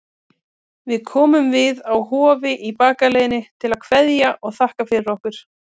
Við komum við á Hofi í bakaleiðinni til að kveðja og þakka fyrir okkur.